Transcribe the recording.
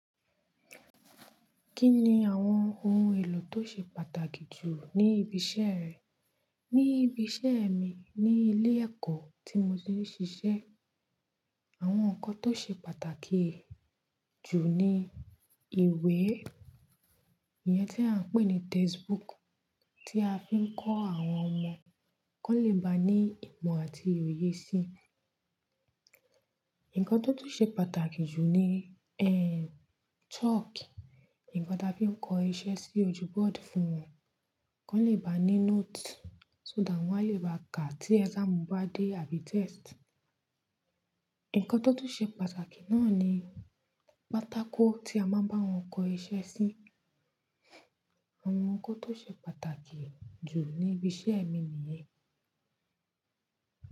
Kí ni àwọn ohun èlò tó ṣe pàtàkì jù ní ibi iṣẹ́ rẹ? Ní ibi iṣẹ́ mi ní ilé ẹ̀kọ́ tí mo ti ń ṣiṣẹ́, àwọn nǹkan tó ṣe pàtàkì jù ni ìwé, ìyẹn tí à ń pè ní textbook tí a fi ń kọ́ àwọn ọmọ kan lè ba ní ìmọ̀ àti oye sí i. Ǹkan tó tún ṣe pàtàkì jù ni, ehen, chalk. Ǹkan tí a fi ń kọ iṣẹ́ sí ojú bọ́ọ̀dù fún wọn kan lè ba ní note so that wọ́n á lè ba ka tí exam bá dé àbí test. Ǹkan tó tún ṣe pàtàkì náà ni pátákó tí a máa ń bá wọn kọ iṣẹ́ sí. Àwọn nǹkan tó ṣe pàtàkì jù ní ibi iṣẹ́ mi nìyẹn.